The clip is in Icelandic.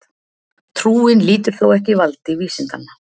Trúin lýtur þó ekki valdi vísindanna.